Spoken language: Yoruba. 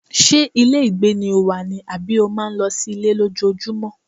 Ṣé ilé ìgbé ni o wà ni àbí o máa ń lọ sí ilé lójoojúmọ́?